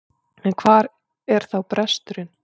En hvar er þá bresturinn?